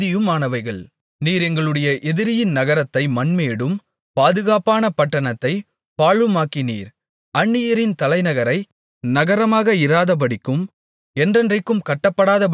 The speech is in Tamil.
நீர் எங்களுடைய எதிரியின் நகரத்தை மண்மேடும் பாதுகாப்பான பட்டணத்தைப் பாழுமாக்கினீர் அந்நியரின் தலைநகரை நகரமாக இராதபடிக்கும் என்றைக்கும் கட்டப்படாதபடிக்கும் செய்தீர்